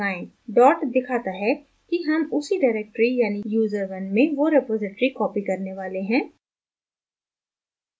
dot दिखाता है कि हम उसी directory यानि user1 में वो repository copy करने वाले हैं